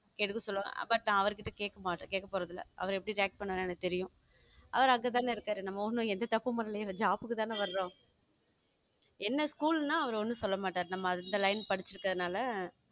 எடுக்க சொல்லுவாரு but நான் அவருகிட்ட கேட்க மாட்டேன் கேட்க போறது இல்லை அவர் எப்படி react பண்ணுவாரு எனக்கு தெரியும் அவரு அங்கதானே இருக்காரு நம்ம ஊர்ல எந்த தப்பும் பண்ணலயேன்னு job க்கு தானே வரோம் என்ன school ன்னா அவரு ஒண்ணும் சொல்ல மாட்டாரு நம்ம அந்த line படிச்சிருக்கிறதுனால